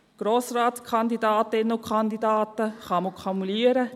Grossratskandidatinnen und -kandidaten können kumuliert werden;